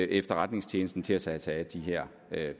efterretningstjenesten tage sig sig af de her